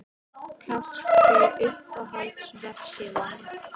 kaffi Uppáhalds vefsíða?